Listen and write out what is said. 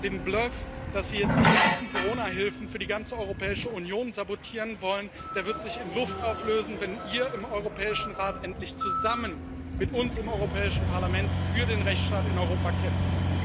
Der Bluff, dass sie jetzt die ganzen Corona Hilfen für die ganze Europäische Union sabotieren wollen, wird sich in Luft auflösen, wenn ihr im Europäischen Rat endlich zusammen mit uns im Europäischen Parlament für den Rechtsstaat in Europa kämpft.